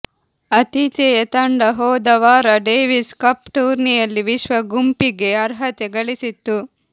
ಆತಿಥೇಯ ತಂಡ ಹೋದ ವಾರ ಡೇವಿಸ್ ಕಪ್ ಟೂರ್ನಿಯಲ್ಲಿ ವಿಶ್ವ ಗುಂಪಿಗೆ ಅರ್ಹತೆ ಗಳಿಸಿತ್ತು